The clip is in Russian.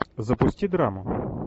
запусти драму